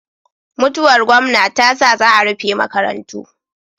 Mutuwar gomna tasa za a rufe maka rantu